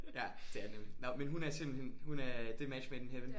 Ja det er det nemlig nåh men hun er simpelthen hun er det er match made in heaven?